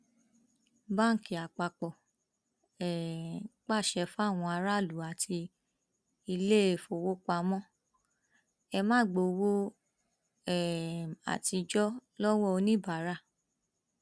báńkì àpapọ um pàṣẹ fáwọn aráàlú àti iléèfowópamọ ẹ máa gba owó um àtijọ lọwọ oníbàárà